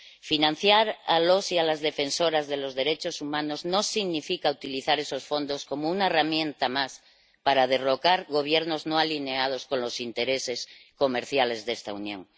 Financiar a los y a las defensoras de los derechos humanos no significa utilizar esos fondos como una herramienta más para derrocar gobiernos no alineados con los intereses comerciales de esta Unión.